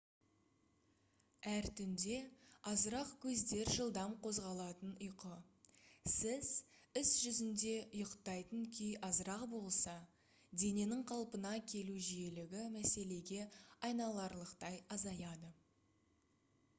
әр түнде азырақ көздер жылдам қозғалатын ұйқы сіз іс жүзінде ұйықтайтын күй азырақ болса дененің қалпына келу жиілігі мәселеге айналарлықтай азаяды